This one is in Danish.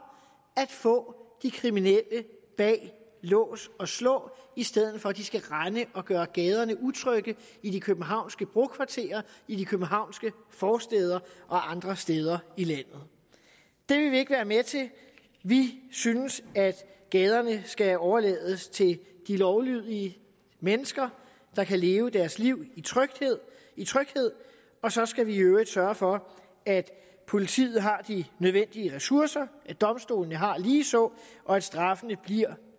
at få de kriminelle bag lås og slå i stedet for at de skal rende og gøre gaderne utrygge i de københavnske brokvarterer i de københavnske forstæder og andre steder i landet det vil vi ikke være med til vi synes at gaderne skal overlades til de lovlydige mennesker der kan leve deres liv i tryghed i tryghed og så skal vi i øvrigt sørge for at politiet har de nødvendige ressourcer at domstolene har ligeså og at straffene bliver